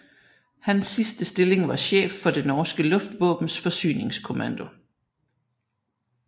Hans sidste stilling var chef for det norske luftvåbens forsyningskommando